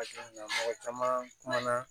mɔgɔ caman kumana